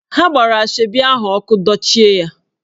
Ha gbara Asoebi ahụ ọkụ, dochie ya!